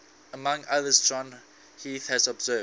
among others john heath has observed